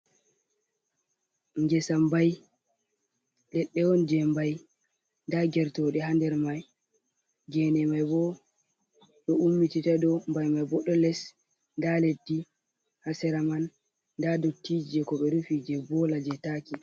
Ngesa mbai leɗɗe on je mbai, nda geroɗe ha nder mai, gene mai ɓo ɗo ummitita ɗum, mbai mai bo ɗo les, nda leddi ha sera man, nda dotti je ko ɓe rufi je bola je taki.